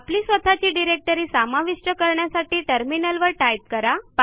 आपली स्वतःची डिरेक्टरी समाविष्ट करण्यासाठी टर्मिनलवर टाईप करा